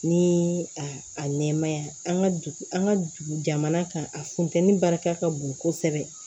Ni a a nɛmaya an ka dugu an ka dugu jamana kan a funtɛnni barika ka bon kosɛbɛ